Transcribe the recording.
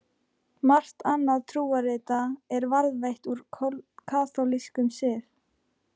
Margt annað trúarrita er varðveitt úr kaþólskum sið.